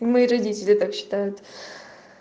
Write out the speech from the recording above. и мои родители так считают